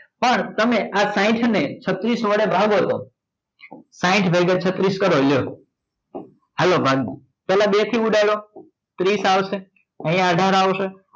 પણ તમે આ સાઈડને સાઇટ ને છત્રીસ વડે ભાગો તો સાઇટ ભાગ્યા છત્રીસ કરો હાલો ભાગ્યા પહેલા બેથી ઉડાડો ત્રીસ આવશે પછી અઢાર આવશે